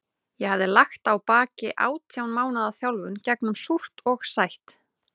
Ég hafði lagt að baki átján mánaða þjálfun gegnum súrt og sætt.